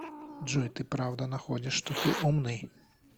джой ты правда находишь что ты умный